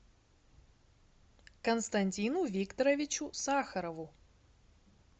константину викторовичу сахарову